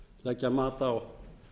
leggja mat á